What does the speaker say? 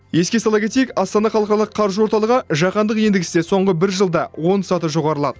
еске сала кетейік астана халықаралық қаржы орталығы жаһандық индексте соңғы бір жылда он саты жоғарылады